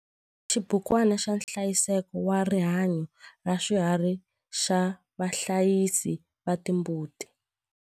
Xibukwana xa nhlayiseko wa rihanyo ra swiharhi xa vahlayisi va timbuti.